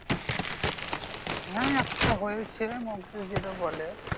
হ্যাঁ একটা হয়েছে mock test যেটা বলে।